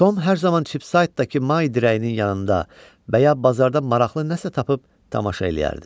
Tom hər zaman Çipsaytdakı may dirəyinin yanında və ya bazarda maraqlı nəsə tapıb tamaşa eləyərdi.